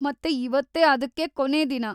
ಮತ್ತೇ ಇವತ್ತೇ ಅದಕ್ಕೆ ಕೊನೇ ದಿನ.